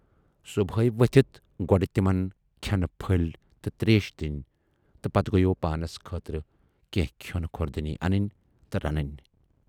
صُبحے ؤتھِتھ گۅڈٕ تِمن کھٮ۪نہٕ پھٔلۍ تہٕ تریش دِنۍ تہٕ پتہٕ گٔیوو پانس خٲطرٕ کینہہ کھٮ۪نہٕ خۅردنۍ انٕنۍ تہٕ رنٕنۍ۔